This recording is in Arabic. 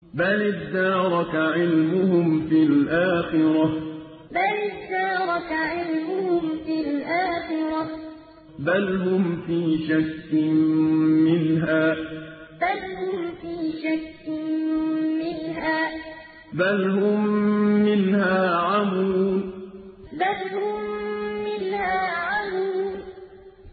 بَلِ ادَّارَكَ عِلْمُهُمْ فِي الْآخِرَةِ ۚ بَلْ هُمْ فِي شَكٍّ مِّنْهَا ۖ بَلْ هُم مِّنْهَا عَمُونَ بَلِ ادَّارَكَ عِلْمُهُمْ فِي الْآخِرَةِ ۚ بَلْ هُمْ فِي شَكٍّ مِّنْهَا ۖ بَلْ هُم مِّنْهَا عَمُونَ